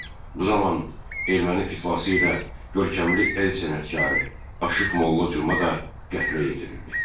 Bu zaman erməni fitvası ilə görkəmli el sənətkarı Aşıq Molla Cuma da qətlə yetirildi.